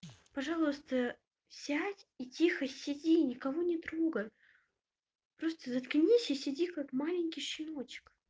пожалуйста сядь и тихо сиди никого не трогай просто заткнись и сиди как маленький щеночек